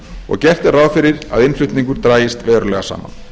og gert er ráð fyrir að innflutningur dragist verulega saman